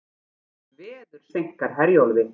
Veður seinkar Herjólfi